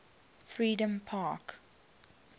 freedompark